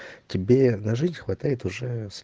тебе на жизнь хватает уже